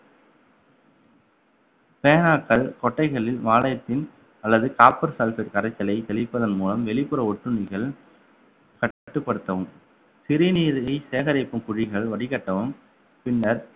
பேனாக்கள் கொட்டைகளில் அல்லது copper sulphate கரைச்சலை தெளிப்பதன் மூலம் வெளிப்புற ஒட்டுண்ணிகள் கட்டுப்படுத்தவும் சிறுநீரில் சேகரிக்கும் குழிகள் வடிகட்டவும் பின்னர்